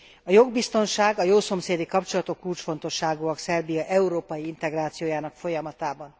A jogbiztonság, a jószomszédi kapcsolatok kulcsfontosságúak Szerbia európai integrációjának folyamatában.